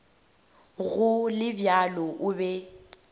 go le bjalo o be